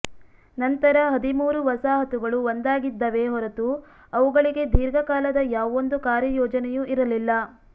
ನಂತರ ಹದಿಮೂರು ವಸಾಹತುಗಳು ಒಂದಾಗಿದ್ದವೇ ಹೊರತು ಅವುಗಳಿಗೆ ದೀರ್ಘಕಾಲದ ಯಾವೊಂದು ಕಾರ್ಯಯೋಜನೆಯೂ ಇರಲಿಲ್ಲ